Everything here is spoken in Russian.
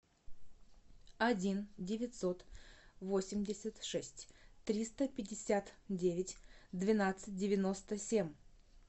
один девятьсот восемьдесят шесть триста пятьдесят девять двенадцать девяносто семь